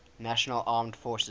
national armed forces